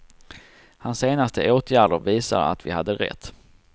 Hans senaste åtgärder visar att vi hade rätt.